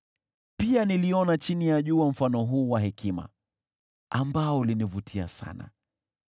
Pia niliona chini ya jua mfano huu wa hekima ambao ulinivutia sana: